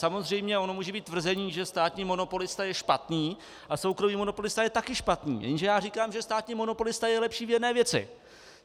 Samozřejmě ono může být tvrzení, že státní monopolista je špatný a soukromý monopolista je také špatný, jenže já říkám, že státní monopolista je lepší v jedné věci.